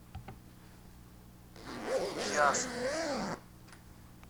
ясный